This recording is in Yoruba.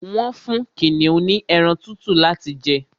Wọ́n fún kìnìún ní ẹran tútù láti jẹ